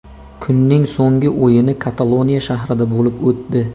Kunning so‘nggi o‘yini Kataloniya shahrida bo‘lib o‘tdi.